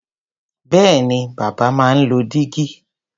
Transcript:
Bẹ́ẹ̀ni, bàbá máa ń lo dígí.